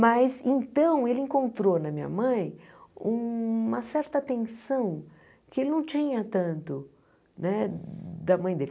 Mas, então, ele encontrou na minha mãe uma certa atenção que ele não tinha tanto né da mãe dele.